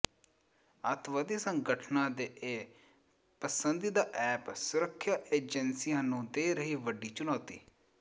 ਅੱਤਵਾਦੀ ਸੰਗਠਨਾਂ ਦੇ ਇਹ ਪਸੰਦੀਦਾ ਐਪ ਸੁਰੱਖਿਆ ਏਜੰਸੀਆਂ ਨੂੰ ਦੇ ਰਹੇ ਵੱਡੀ ਚੁਣੌਤੀ